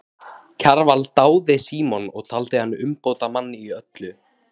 Kjarval dáði Símon og taldi hann umbótamann í öllu.